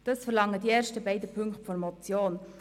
Das verlangen die ersten beiden Punkte der Motion.